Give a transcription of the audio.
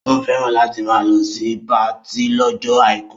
Ó fẹ́ràn láti máa lọ sí patí lọ́jọ́ àìkú